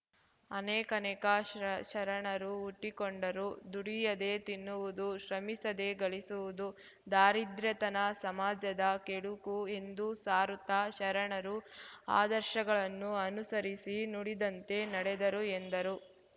ಅನೇಕನೇಕ ಶರಣರು ಹುಟ್ಟಿಕೊಂಡರು ದುಡಿಯದೆ ತಿನ್ನುವುದು ಶ್ರಮಿಸದೆ ಗಳಿಸುವುದು ದಾರಿದ್ರ್ಯತನ ಸಮಾಜದ ಕೆಡುಕು ಎಂದು ಸಾರುತ್ತ ಶರಣರು ಆದರ್ಶಗಳನ್ನು ಅನುಸರಿಸಿ ನುಡಿದಂತೆ ನಡೆದರು ಎಂದರು